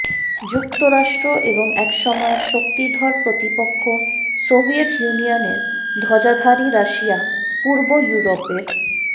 যুক্তরাষ্ট্র এবং একসময়ের শক্তিধর প্রতিপক্ষ সোভিয়েত ইউনিয়নের ধ্বজাধারী রাশিয়া পূর্ব ইউরোপের